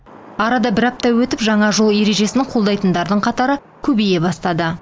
арада бір апта өтіп жаңа жол ережесін қолдайтындардың қатары көбейе бастады